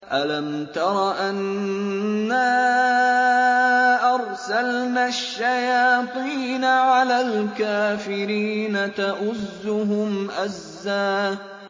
أَلَمْ تَرَ أَنَّا أَرْسَلْنَا الشَّيَاطِينَ عَلَى الْكَافِرِينَ تَؤُزُّهُمْ أَزًّا